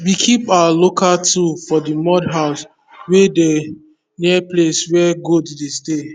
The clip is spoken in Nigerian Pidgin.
we keep our local tool for the mud house wey dey near place wey goat dey stay